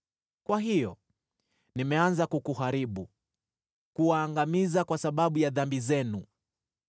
Kwa hiyo, nimeanza kukuharibu, kuwaangamiza kwa sababu ya dhambi zenu.